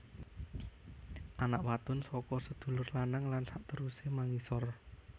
Anak wadon saka sedulur lanang lan sakterusé mangisor